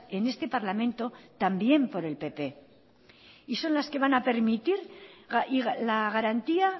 en este parlamento también por el pp y son las que van a permitir la garantía